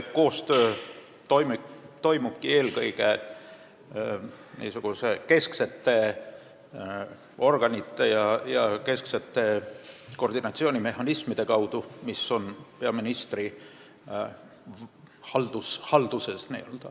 See koostöö toimubki eelkõige niisuguste kesksete organite ja kesksete koordinatsioonimehhanismide abil, mis on peaministri haldusalas.